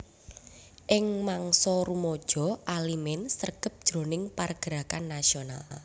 Ing mangsa rumaja Alimin sregep jroning pargerakan nasional